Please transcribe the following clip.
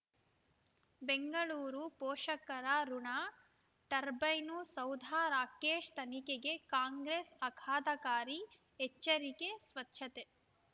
ಬೆಂಗಳೂರು ಪೋಷಕರಋಣ ಟರ್ಬೈನು ಸೌಧ ರಾಕೇಶ್ ತನಿಖೆಗೆ ಕಾಂಗ್ರೆಸ್ ಆಘಾತಕಾರಿ ಎಚ್ಚರಿಕೆ ಸ್ವಚ್ಛತೆ